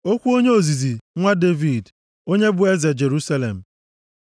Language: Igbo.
Okwu onye ozizi, nwa Devid, onye bụ eze na Jerusalem.